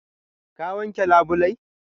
Ka wanke labulai?